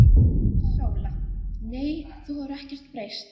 SÓLA: Nei, þú hefur ekkert breyst.